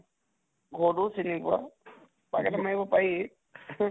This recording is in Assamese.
ঘৰ তো ও চিনি পোৱা ? পাক এটা মাৰিব পাৰি